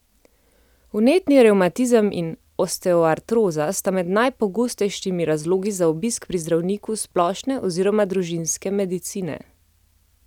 Vnetni revmatizem in osteoartroza sta med najpogostejšimi razlogi za obisk pri zdravniku splošne oziroma družinske medicine.